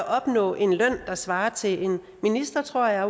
opnå en løn der svarer til en ministers tror jeg